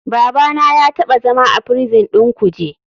Babana ya taɓa zama a prison ɗin kuje.